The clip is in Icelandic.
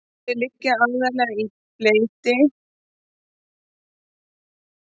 Þau liggja aðallega í belti milli reikistjarnanna Mars og Júpíters.